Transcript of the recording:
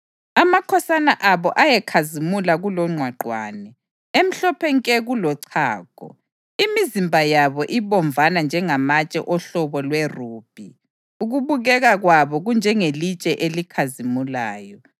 Amakhosana abo ayekhazimula kulongqwaqwane, emhlophe nke kulochago, imizimba yabo ibomvana njengamatshe ohlobo lwerubhi, ukubukeka kwabo kunjengelitshe elikhazimulayo.